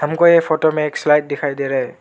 हमको ये फोटो में एक स्लाइड दिखाई दे रहा है।